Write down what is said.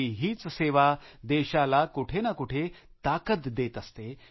आपली हीच सेवा देशाला कुठे ना कुठे ताकद देत असते